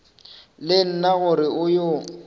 le nna gore o yo